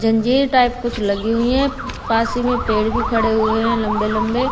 जंजीर टाइप कुछ लगी हुई है पास ही में पेड़ खड़े हुए है लम्बे लम्बे।